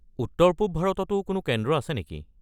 উত্তৰ-পূৱ ভাৰততো কোনো কেন্দ্ৰ আছে নেকি?